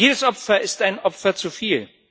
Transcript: Jedes Opfer ist ein Opfer zu viel.